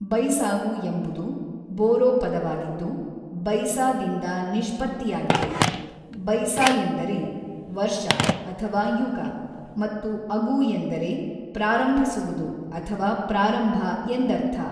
ಬೈಸಾಗು ಎಂಬುದು ಬೋರೋ ಪದವಾಗಿದ್ದು, 'ಬೈಸಾ'ದಿಂದ ನಿಷ್ಪತ್ತಿಯಾಗಿದೆ, 'ಬೈಸಾ' ಎಂದರೆ ವರ್ಷ ಅಥವಾ ಯುಗ ಮತ್ತು 'ಅಗು' ಎಂದರೆ ಪ್ರಾರಂಭಿಸುವುದು ಅಥವಾ ಪ್ರಾರಂಭ ಎಂದರ್ಥ.